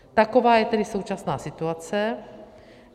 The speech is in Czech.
Taková je tedy současná situace.